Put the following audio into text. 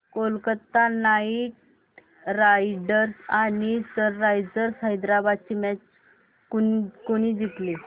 Kolkata Knight Riders आणि Sunrisers Hyderabad ही match कोणी जिंकली